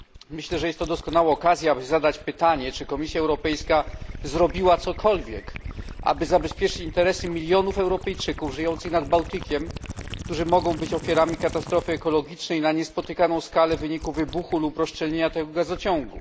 Myślę, że jest to doskonała okazja, by zadać pytanie, czy Komisja Europejska zrobiła cokolwiek, aby zabezpieczyć interesy milionów Europejczyków żyjących nad Bałtykiem, którzy mogą być ofiarami katastrofy ekologicznej na niespotykaną skalę w wyniku wybuchu lub rozszczelnienia tego gazociągu.